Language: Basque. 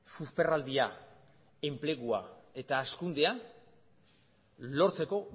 susperraldia enplegua eta hazkundea lortzeko